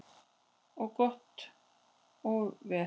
Og gott og vel.